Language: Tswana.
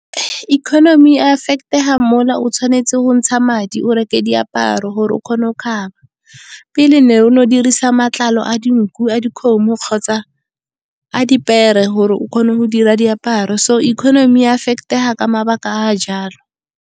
Economy e affect-ega mo o tshwanetseng go ntsha madi o reke diaparo gore o kgone go kgaba. Pele ne o dirisa matlalo a dinku, a dikgomo kgotsa a dipere. Gore o kgone go dira diaparo, so economy e affect-ega ka mabaka a jalo.